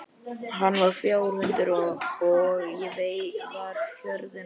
Hann var fjárhundur og ég var hjörðin hans.